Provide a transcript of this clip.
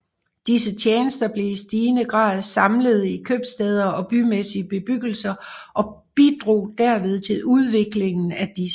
Disse tjenester blev i stigende grad samlede i købstæder og bymæssige bebyggelser og bidrog derved til udviklingen af disse